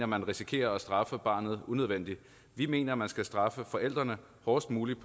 man risikerer at straffe barnet unødvendigt vi mener at man skal straffe forældrene hårdest muligt